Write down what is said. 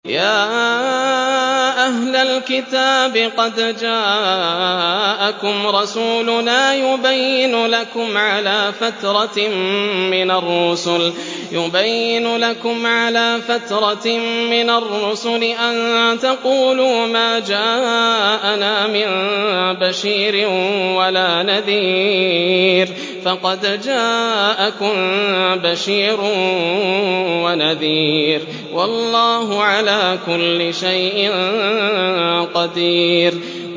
يَا أَهْلَ الْكِتَابِ قَدْ جَاءَكُمْ رَسُولُنَا يُبَيِّنُ لَكُمْ عَلَىٰ فَتْرَةٍ مِّنَ الرُّسُلِ أَن تَقُولُوا مَا جَاءَنَا مِن بَشِيرٍ وَلَا نَذِيرٍ ۖ فَقَدْ جَاءَكُم بَشِيرٌ وَنَذِيرٌ ۗ وَاللَّهُ عَلَىٰ كُلِّ شَيْءٍ قَدِيرٌ